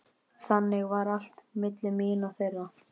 Þannig var allt milli mín og þeirra.